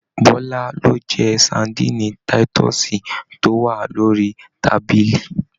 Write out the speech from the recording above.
Bọla lo jẹ sadinni titọsi to wa l'ori tábìlì.